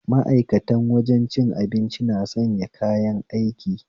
Ma'aikatan wajen cin abinci na sanya kayan aiki